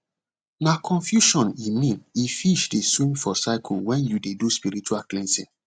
nah confusion e mean if fish dey swim for circle when you dey do spiritual cleansing